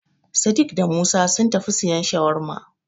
Sadik da Musa sun tafi siyan Shawarma.